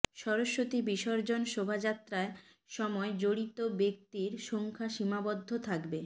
সরস্বতী বিসর্জন শোভযাত্রায় সময় জড়িত ব্যক্তির সংখ্যা সীমাবদ্ধ থাকবে